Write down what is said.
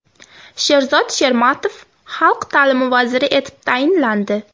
Sherzod Shermatov xalq ta’limi vaziri etib tayinlandi.